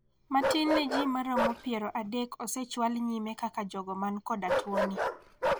Matin ne ji maromo piero adek osechwal nyime kaka jogo man koda tuo ni.